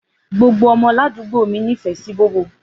Gbogbo ọmọ làdúgbó mí nífẹ̀ sí bóbò.